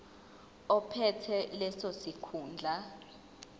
ophethe leso sikhundla